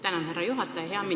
Tänan, härra juhataja!